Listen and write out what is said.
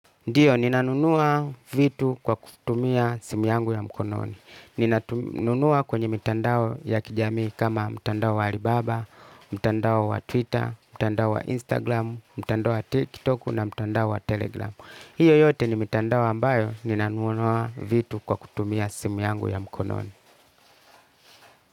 Ndiyo, ninanunua vitu kwa kutumia simu yangu ya mkononi. Ninanunua kwenye mitandao ya kijamii kama mtandao wa Alibaba, mitandao wa Twitter, mitandao wa Instagram, mitandao wa TikTok na mitandao wa Telegram. Hiyo yote ni mitandao ambayo ninanunua vitu kwa kutumia simu yangu ya mkononi.